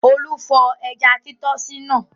Olú fọ ẹja títọ́sì náà.